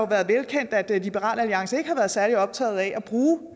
været velkendt at liberal alliance ikke har været særlig optaget af